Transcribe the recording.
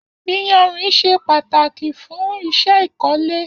Iyànrín ṣé pàtákí fùn iṣẹ ikọ̀lé